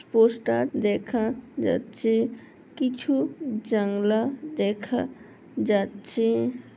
Poster দেখা যাচ্ছে কিছু জাংলা দেখা যাচ্ছে।